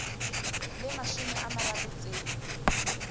le mashome a mararo tse